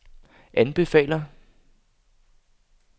anbefaler